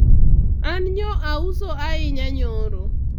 an nyo auso ahinya nyoro